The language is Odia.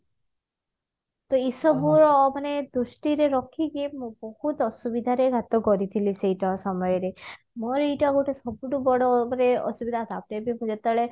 ତ ଏଇ ସବୁ ଦୃଷ୍ଟିରେ ରଖିକି ମୁଁ ବହୁତ ଅସୁବିଧାରେ କରିଥିଲି ସେଇଟା ସମୟରେ ମୋର ଏଇଟା ଗୋଟେ ସବୁଠୁ ବଡ ଯେତେବେଳେ